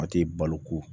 A tɛ balo ko